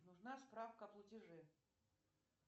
нужна справка о платеже